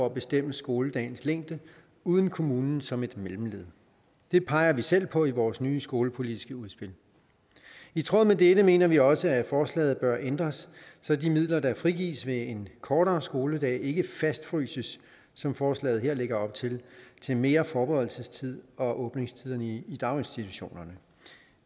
at bestemme skoledagens længde uden kommunen som et mellemled det peger vi selv på i vores nye skolepolitiske udspil i tråd med dette mener vi også at forslaget bør ændres så de midler der frigives ved en kortere skoledag ikke fastfryses som forslaget her lægger op til til mere forberedelsestid og åbningstiderne i daginstitutionerne